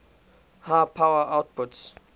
high power outputs